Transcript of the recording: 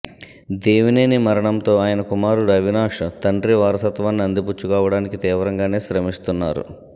దేవినేని మరణంతో ఆయన కుమారుడు అవినాశ్ తండ్రి వారసత్వాన్ని అందిపుచ్చుకోవడానికి తీవ్రంగానే శ్రమిస్తున్నారు